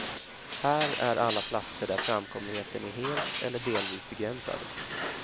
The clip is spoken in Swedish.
Här är alla platser där framkomligheten är helt eller delvis begränsad.